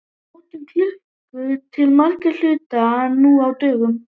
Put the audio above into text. Við notum klukkur til margra hluta nú á dögum.